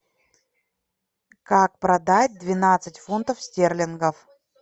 как продать двенадцать фунтов стерлингов